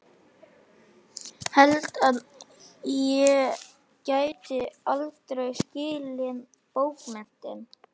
Held að ég geti aldrei skilið bókmenntir.